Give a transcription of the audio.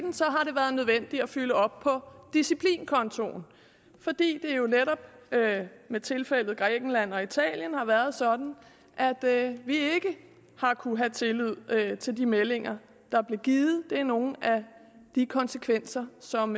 har nødvendigt at fylde op på disciplinkontoen fordi det jo netop med tilfældet grækenland og italien har været sådan at vi ikke har kunnet have tillid til de meldinger der blev givet det er nogle af de konsekvenser som